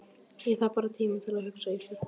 Ég þarf bara tíma til að hugsa Ísbjörg.